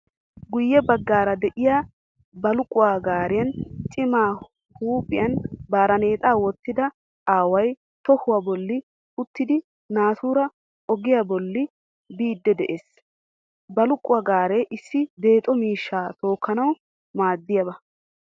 Guyye baggaara de'iyaa balqquwaa gaariyan Cima huuphiyan barneexaa wottida aaway toohuwaa bollan uttidi naatuura ogiyaa bollan biidi de'ees. Balqquwaaa gaare issi deexo mishshaa tookkanawu maadiyaaba.